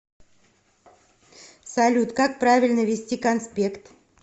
салют как правильно вести конспект